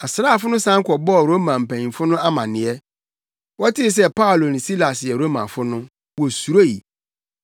Asraafo no san kɔbɔɔ Roma mpanyimfo no amanneɛ. Wɔtee sɛ Paulo ne Silas yɛ Romafo no, wosuroe